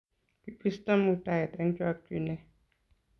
kibisto muitaet eng chokchinee